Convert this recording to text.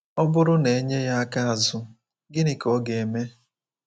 Ọ bụrụ na e nye ya aka azụ, gịnị ka ọ ga-eme?”